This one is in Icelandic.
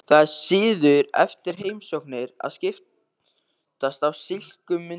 Það er siður eftir heimsóknir að skiptast á slíkum myndum.